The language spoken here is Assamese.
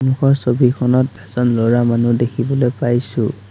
সন্মুখৰ ছবিখন এজন ল'ৰা মানুহ দেখিবলৈ পাইছোঁ।